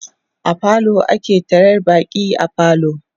a falo ake taryar baƙi a falo